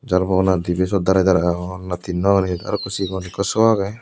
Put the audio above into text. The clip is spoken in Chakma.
jarbo hona dibe siot dare dare agon na tinno agon hijeni arokko sigon ekko so agey.